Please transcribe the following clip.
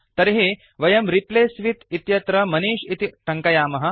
तर्हि वयं replace with इत्यत्र मनिष् इति टङ्कयामः